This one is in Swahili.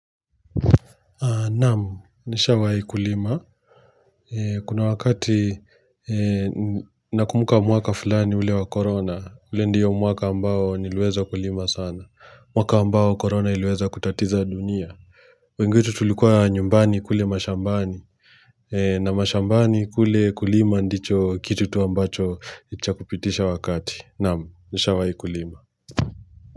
Naam, nishawahi kulima. Kuna wakati nakumbuka mwaka fulani ule wa korona, ule ndiyo mwaka ambao niliweza kulima sana. Mwaka ambao korona iliweza kutatiza dunia. Wengi wetu tulikuwa nyumbani kule mashambani. Na mashambani kule kulima ndicho kitu tu ambacho chakupitisha wakati. Naamu, nisha wai kulima.